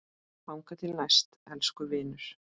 Þangað til næst, elsku vinur.